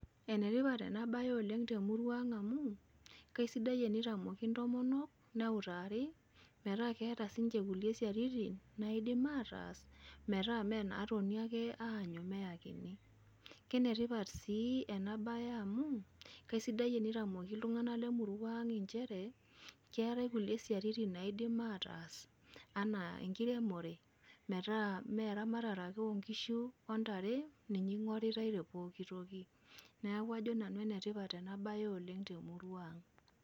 Ene tipat ena baye oleng' te murua aang' amu kesidai enitamoki ntomonok, neutaari metaa keeta siinje kulie siaritin naidim ataas metaa mee naatoni ake aanyu meyakini. Kene tipat sii ena baye amu kaisidai enitamoki itung'anak le murrua aang' inchere keetai kulie siaritin naidim ataas anaa enkiremore metaa mee eramatare ake oo nkishu o ntare ninye ing'oritai te pooki toki. Neeku ajo nanu ene tipat ena baye oleng' te murua aang'.